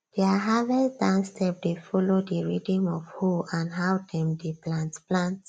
their harvest dance step dey follow the rhythm of hoe and how dem dey plant plant